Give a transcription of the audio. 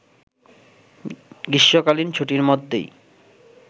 গ্রীষ্মকালীন ছুটির মধ্যেই